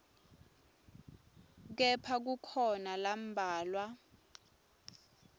kepha kukhona lambalwa